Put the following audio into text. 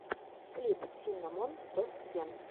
клип синнамон тост кен